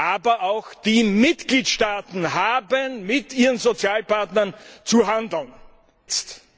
Aber auch die Mitgliedstaaten haben mit ihren Sozialpartnern zu handeln, jetzt!